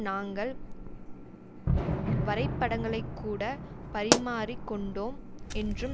நாங்கள் வரைபடங்களைக் கூட பறிமாறிக் கொண்டோம் என்றும்